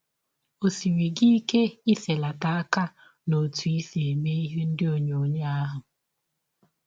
Ọ siri gị ike iselata aka n’ọtụ i si eme ihe ndị ọnyọnyọ ahụ?